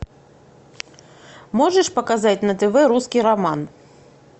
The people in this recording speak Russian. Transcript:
можешь показать на тв русский роман